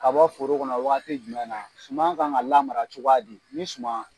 Ka bɔ foro kɔnɔ wagati jumɛn na, suman kan ka lara cogoya di ni suman